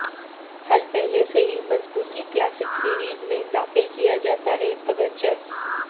حل پہلے سے ہی مضبوطی کلاسک سیریز میں داخل کیا جاتا ہے اگرچہ